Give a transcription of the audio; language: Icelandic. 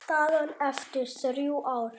Staðan eftir þrjú ár?